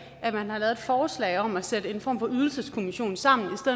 at man har lavet et forslag om at sætte en form for ydelseskommission sammen